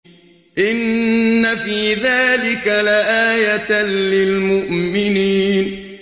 إِنَّ فِي ذَٰلِكَ لَآيَةً لِّلْمُؤْمِنِينَ